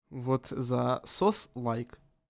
вот засос лайк